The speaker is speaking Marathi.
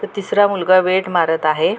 तर तिसरा मुलगा वेट मारत आहे.